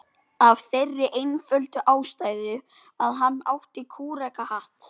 Af þeirri einföldu ástæðu að hann átti kúrekahatt.